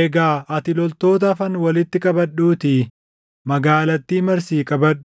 Egaa ati loltoota hafan walitti qabadhuutii magaalattii marsii qabadhu.